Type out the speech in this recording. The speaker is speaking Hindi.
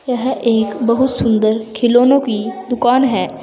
यह एक बहुत सुंदर खिलौनो की दुकान है।